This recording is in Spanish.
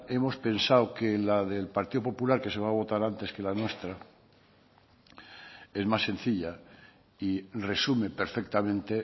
hemos pensado que la del partido popular que se va a votar antes que la nuestra es más sencilla y resume perfectamente